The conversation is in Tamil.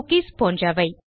குக்கீஸ் போன்றவை